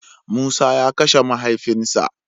Musa ya Kashe mahaifin sa.